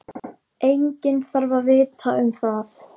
Enginn þarf að vita um það.